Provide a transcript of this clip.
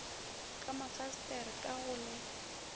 ka mafasetere ka go le